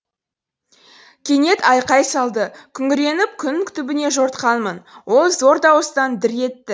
кенет айқай салды күңіреніп күн түбіне жортқанмын ол зор дауыстан дір етті